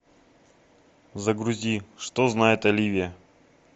загрузи что знает оливия